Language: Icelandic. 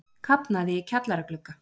Kafnaði í kjallaraglugga